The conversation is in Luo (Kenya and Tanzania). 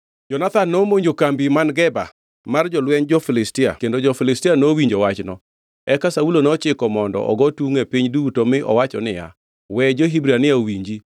Jonathan nomonjo kambi man Geba mar jolwenj jo-Filistia kendo jo-Filistia nowinjo wachno. Eka Saulo nochiko mondo ogo tungʼ e piny duto mi owacho niya, “We jo-Hibrania owinji!”